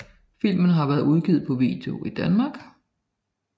Filmen har været udgivet på video i Danmark